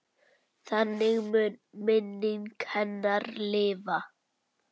Þannig mun minning hennar lifa.